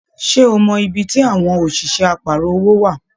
Ṣe o mọ ibí tí àwọn òṣìṣẹ́ àparọ̀ owó wa?